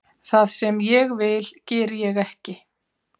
Það sem ég vil geri ég ekki